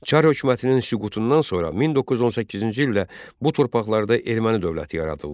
Çar hökumətinin süqutundan sonra 1918-ci ildə bu torpaqlarda erməni dövləti yaradıldı.